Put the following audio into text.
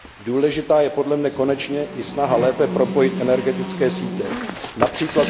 Důležitá je podle mne konečně i snaha lépe propojit energetické sítě, např.